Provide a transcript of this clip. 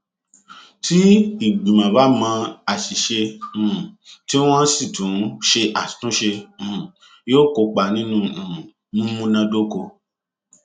tí ìgbìmọ bá mọ àṣìṣe um tí wọn sì ṣe àtúnṣe um yóò kópa nínú um mímúnádóko